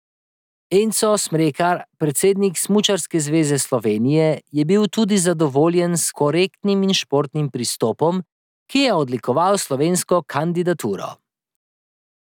Enzo Smrekar, predsednik Smučarske zveze Slovenije, je bil tudi zadovoljen s korektnim in športnim pristopom, ki je odlikoval slovensko kandidaturo.